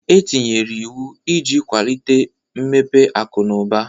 E tinyere iwu iji kwalite mmepe akụ na ụba.